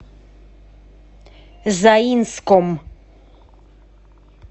заинском